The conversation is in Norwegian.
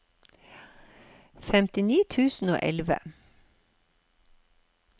femtini tusen og elleve